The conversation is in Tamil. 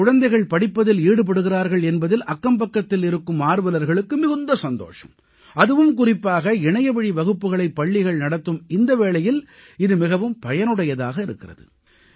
தங்கள் குழந்தைகள் படிப்பதில் ஈடுபடுகிறார்கள் என்பதில் அக்கம்பக்கத்தில் இருக்கும் ஆர்வலர்களுக்கு மிகுந்த சந்தோஷம் அதுவும் குறிப்பாக இணையவழி வகுப்புகளைப் பள்ளிகள் நடத்தும் இந்த வேளையில் இது மிகவும் பயனுடையதாக இருக்கிறது